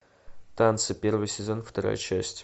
танцы первый сезон вторая часть